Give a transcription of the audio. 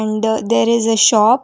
the there is a shop.